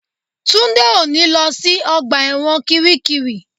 Túndé ò ní lọ sí ọgbà ẹ̀wọ̀n kiríkirì